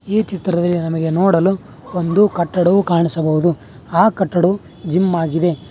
ಈ ಚಿತ್ರದಲ್ಲಿ ನಮಗೆ ನೋಡಲು ಒಂದು ಕಟ್ಟಡವು ಕಾಣಿಸಬಹುದು ಆ ಕಟ್ಟಡವು ಜಿಮ್ ಆಗಿದೆ.